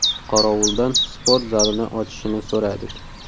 Qorovuldan sport zalini ochishini so‘radik.